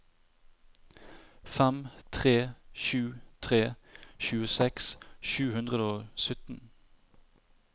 fem tre sju tre tjueseks sju hundre og sytten